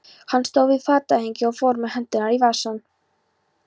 Hann stóð við fatahengið og fór með hendurnar í vasann.